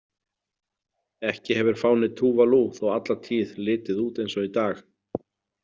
Ekki hefur fáni Tuvalu þó alla tíð litið út eins og í dag.